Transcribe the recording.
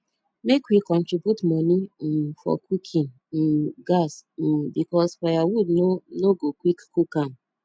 make we contribute money um for cooking um gas um because firewood no no go quick cook am